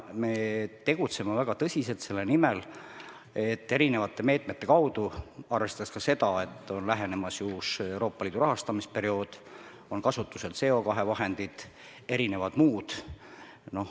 Me tegutseme väga tõsiselt selle nimel, arvestades ka seda, et lähenemas on ju uus Euroopa Liidu rahastamisperiood, kasutusel on CO2 vahendid ja muud.